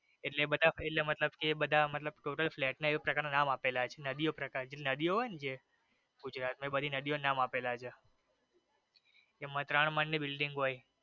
એટલે બધા એટલે મતલબ એ બધા એ બધા મતલબ total flat ને એ પ્રકાર ના નામ આપેલા છે નદીઓ પ્રકાર ના જે નદીઓ હોઈ ને જે ગુજરાત માં એ બધી નદીઓ ના નામ આપેલા છે જેમાં ત્રણ માળ ની building હોઈ.